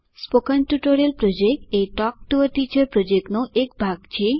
spoken tutorial project એ talk to a teacher પ્રોજેક્ટનો એક ભાગ છે